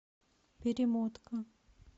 перемотка